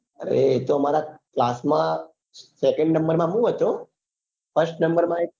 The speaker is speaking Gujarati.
અરે એ તો અમારા class માં second નમ્બર માં હું હતો first માં એક